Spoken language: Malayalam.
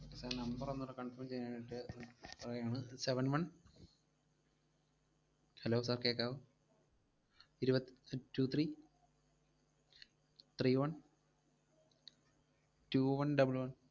sir number ഒന്നൂടെ confirm ചെയ്യാനായിട്ട് പോവയാണ്, seven one hello sir കേക്കാവോ? ഇരുവത്ത്~ ഏർ two three three one two one double one